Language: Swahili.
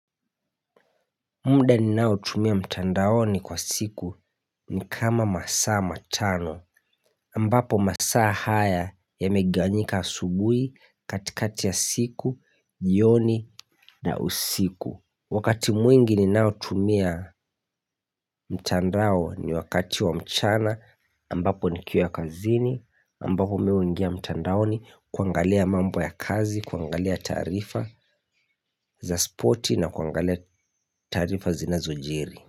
Muda ninao tumia mtandaoni kwa siku ni kama masaa matano ambapo masaa haya yameganyika asubui katikati ya siku, jioni na usiku Wakati mwingi ninao tumia mtandao ni wakati wa mchana ambapo nikiwa kazini, ambapo mi huingia mtandaoni kuangalia mambo ya kazi, kuangalia taarifa za spoti na kuangalia taarifa zinazo jiri.